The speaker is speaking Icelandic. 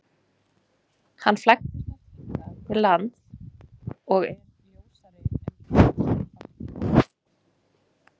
Hann flækist oft hingað til lands og er ljósari en íslenski fálkinn.